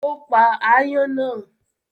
Ó pa aáyán náà?